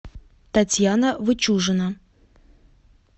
татьяна вычужина